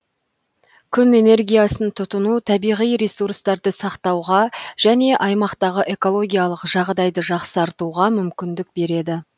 күн энергиясын тұтыну табиғи ресурстарды сақтауға және аймақтағы экологиялық жағдайды жақсартуға мүмкіндік береді